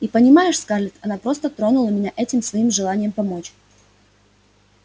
и понимаешь скарлетт она просто тронула меня этим своим желанием помочь